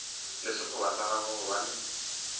le sekgoba sa gagwe gobane